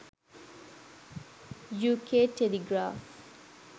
uk telegraph